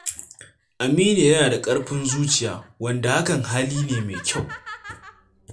Aminu yana da ƙarfin zuciya, wanda hakan hali ne mai kyau.